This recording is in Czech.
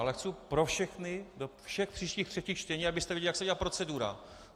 Ale chci pro všechny, do všech příštích třetích čtení, abyste věděli, jak se dělá procedura.